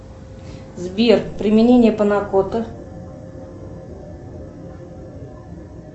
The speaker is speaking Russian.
сбер применение панакоты